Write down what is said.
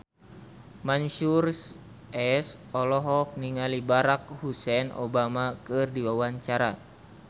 Mansyur S olohok ningali Barack Hussein Obama keur diwawancara